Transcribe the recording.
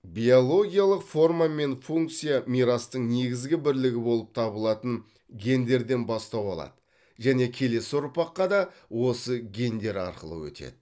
биологиялық форма мен функция мирастың негізгі бірлігі болып табылатын гендерден бастау алады және келесі ұрпаққа да осы гендер арқылы өтеді